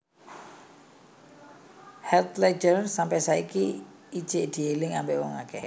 Heath Ledger sampe saiki ijek dieling ambek wong akeh